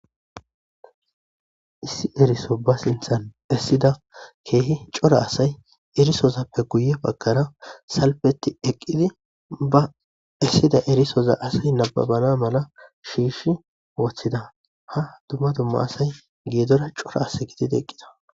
Issi eriso ba sinthan essida keehi cora asay erisozappe guye bagkara salpetti eqqidi ba essida erisoza asay nababana mala shiish woththida ha dumma dumma asay geedora cora as gididi eqqida.